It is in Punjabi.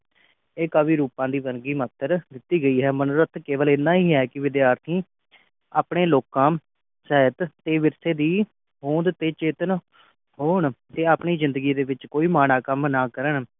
ਇਹ ਕਵੀ ਰੁਪਾ ਦੀ ਵਰਗੀ ਮਾਤਰ ਕੀਤੀ ਗਈ ਹੈ ਮਨੋਰਥ ਕੇਵਲ ਏਨਾ ਹੀ ਹੈ ਕਿ ਵਿਦਿਆਰਥੀ ਆਪਣੇ ਲੋਕਾਂ ਸਾਹਿਤ ਤੇ ਵਿਰਸੇ ਦੀ ਹੋਂਦ ਤੇ ਚੇਤਨ ਹੋਣ ਤੇ ਆਪਣੀ ਜਿੰਦਗੀ ਦੇ ਵਿਚ ਕੋਈ ਮਾੜਾ ਕੰਮ ਨਾ ਕਰਨ